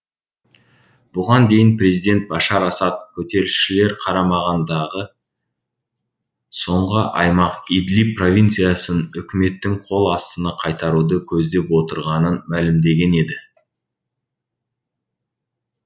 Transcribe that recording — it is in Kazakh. бұған дейін президент башар асад көтерілісшілер қарамағындағы соңғы аймақ идлиб провинциясын үкіметтің қол астына қайтаруды көздеп отырғанын мәлімдеген еді